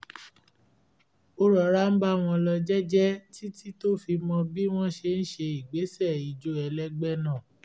ó rọra ń bá wọn lọ jẹ́jẹ́ títí tó fi mọ bí wọ́n ṣe ń ṣe ìgbésẹ̀-ijó ẹlẹ́gbẹ́ náà